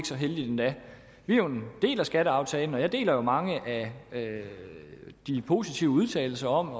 så heldigt endda vi er jo en del af skatteaftalen og jeg deler jo mange af de positive udtalelser om at